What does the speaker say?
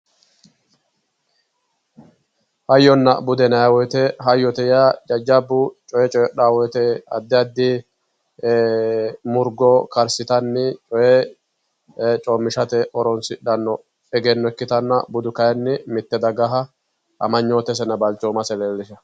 Hayyonna bude yinayi woyite hayyote yaa jajjabbu coyee coyidhaa wote addi addi murgo karsitanni coye coommishate horoonsidhanno egenno ikkitanna budu kayinni mitte dagaha amanyootesenna balchoomase leellisha